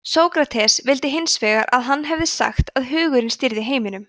sókrates vildi hins vegar að hann hefði sagt að hugurinn stýrði heiminum